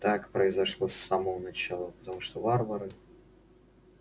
так произошло с самого начала потому что варвары